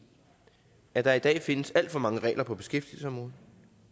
at der i dag findes alt for mange regler på beskæftigelsesområdet